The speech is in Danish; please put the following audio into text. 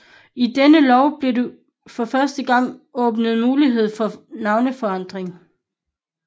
I denne lov blev der for første gang åbnet mulighed for navneforandring